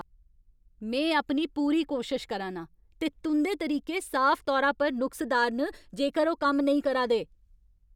में अपनी पूरी कोशश करा ना आं, ते तुं'दे तरीके साफ तौरा पर नुक्सदार न जेकर ओह् कम्म नेईं करा दे ।